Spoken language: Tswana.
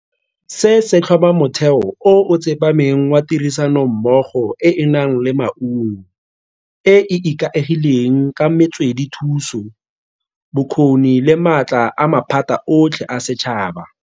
Se se tlhoma motheo o o tsepameng wa tirisanommogo e e nang le maungo, e e ikaegileng ka metswedithuso, bokgoni le maatla a maphata otlhe a setšhaba.